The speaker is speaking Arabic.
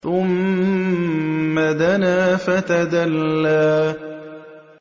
ثُمَّ دَنَا فَتَدَلَّىٰ